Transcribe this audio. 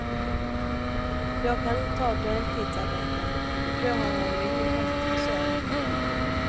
Jag kan inte ta deltidsarbeten, för då har jag ju ingen chans att försörja mig.